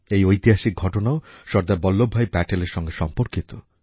এই ঐতিহাসিক ঘটনাও সর্দার বল্লভভাই প্যাটেলের সঙ্গে সম্পর্কিত